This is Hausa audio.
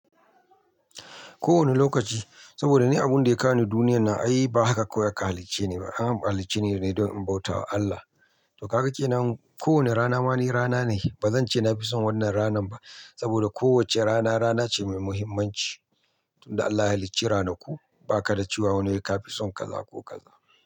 Ko wani lokaci, saboda ni abun da ya kawo ni duniyan nan ai ba haka kawai aka halicce ni ba, an halicce ni ne don in bauta wa Allah. To ka kenan kowane rana ma ni rana ne. Ba zan ce na fi son wannan ranan ba saboda kowacce rana rana ce mai mahimmanci. Tun da Allah ya halicci ranaku, ba ka da cewa wani wai ka fi son kaza ko kaza.